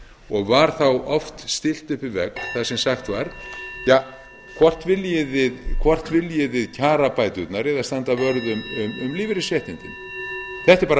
og var þá oft stillt upp við vegg þar sem sagt var ja hvort viljið þið kjarabæturnar eða standa vörð um lífeyrisréttindin þetta er bara